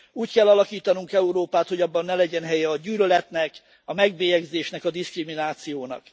Úgy kell alakítanunk Európát, hogy abban ne legyen helye a gyűlöletnek, a megbélyegzésnek, a diszkriminációnak.